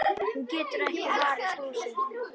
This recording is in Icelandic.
Hún getur ekki varist brosi.